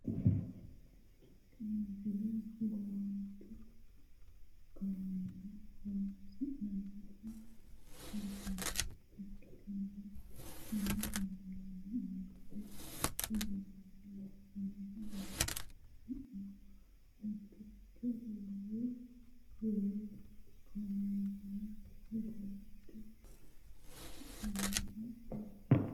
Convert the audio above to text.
tini misile hogowaancho kameela loonsoonniha kultannota ikkitanna kuni kameelino angate ogimmanni loonsoonniho horosino mittoricho wolu kameelira hogowate kaa'lannoho yaate .